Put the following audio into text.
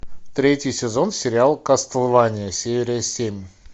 третий сезон сериал кастлвания серия семь